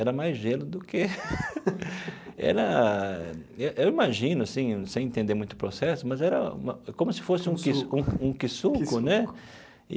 Era mais gelo do que era... Eu eu imagino assim, sem entender muito o processo, mas era uma como se fosse um um um ki-suco, né?